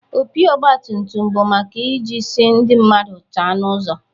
Opi ogbatumtum bụ maka iji si ndị mmadụ chaa n'ụzo.